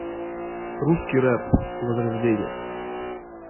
русский рэп возрождение